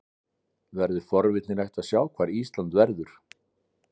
Verður forvitnilegt að sjá hvar Ísland verður.